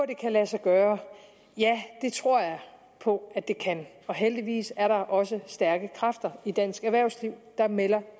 det kan lade sig gøre ja det tror jeg på at det kan og heldigvis er der også stærke kræfter i dansk erhvervsliv der melder